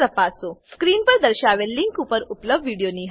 screen પર દર્શાવેલ link પર ઉપલબ્ધ વિડીયો નિહાળો